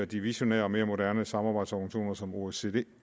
de visionære og mere moderne samarbejdsorganisationer som osce